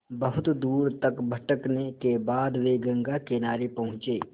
बहुत दूर तक भटकने के बाद वे गंगा किनारे पहुँचे